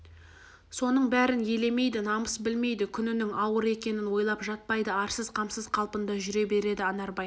соның бәрін елемейді намыс білмейді күнінің ауыр екенін ойлап жатпайды арсыз қамсыз қалпында жүре береді анарбай